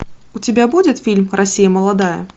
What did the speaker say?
у тебя будет фильм россия молодая